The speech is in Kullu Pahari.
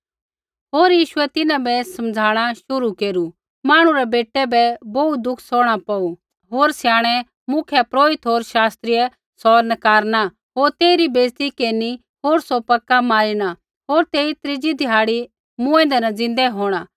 होर यीशुऐ तिन्हां बै समझ़ाणा शुरू केरू मांहणु रै बेटै यीशु बै बोहू दुख सौहणा पौड़ू होर स्याणै मुख्यपुरोहित होर शास्त्रियै सौ नकारना होर तेइरी बेइज़ती केरनी होर सौ पक्का मारिना होर तेई त्रीज़ै ध्याड़ी मूँऐंदै न ज़िन्दै होंणा